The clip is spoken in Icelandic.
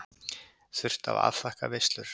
Þurft að afþakka veislur.